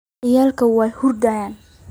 Ciyalki wai hurdeen.